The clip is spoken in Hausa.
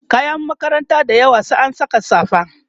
kayan makaranta dayawa sai an Saka safa